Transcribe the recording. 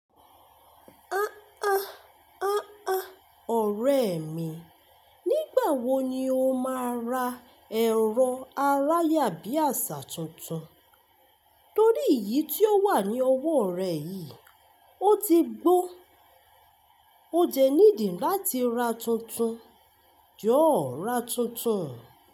A a, a a, ọ̀rẹ́ mi, nígbà wo ni o máa ra ẹ̀rọ aráyàbíàṣà tuntun? Torí iyí tí ó wà ní ọwọ́ rẹ yìí, ó ti gbó. O dẹ́ need i láti ra tuntun. Jọ̀ọ́ ra tuntun.